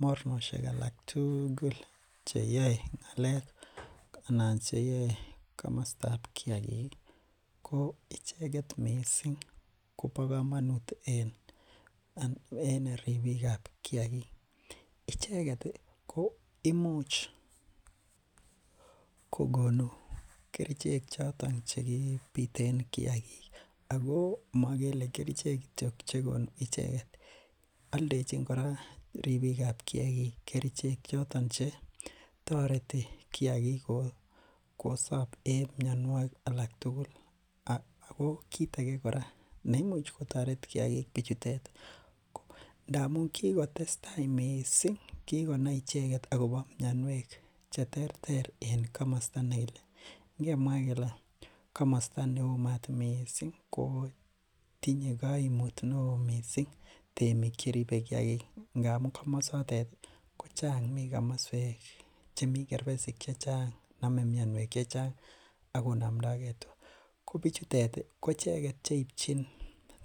Mornosiek alak tugul cheyae ng'alek anan cheyae kamasto kiagik ih ko icheket missing koba kamanut ak ribika. Kiagik icheket ih ko imuch kogonu kerichek choton cheki biten kiagik ago magele kerichek kityo chegonu aldechin kora ribikab kiakig choton che tareti kiagik kosab en mianogig alak tugul ago kit age kora neimuch kotare kiagik bichutet ngamun kingotestai missing kigonai icheket akobo mianiuek cheterter en kamasta negile , ingemwa kele kamasto neoo mat missing kotinye kaimut neoo missing temik cheribe kiagik ndamuun kochang mi kamasuek chemi kerbesik chechang name mianiuek chechang akonamndake tua, ko bichuton koicheket cheibchin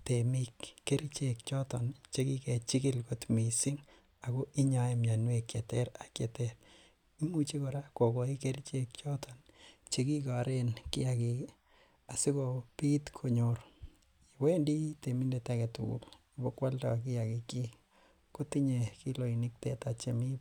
temik kerichek choton chekikechikil kot missing ago inyae mianiuek cheterter ak cheter imuche kora kogoi kerichek choton chekigaren kiagik ih asiko kit konyor. Wendii temindet aketugul ibokoalda kiagik chik kotinye kiloisiek chemi barak